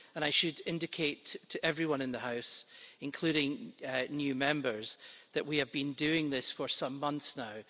And I should indicate to everyone in the House, including new Members, that we have been doing this for some months now.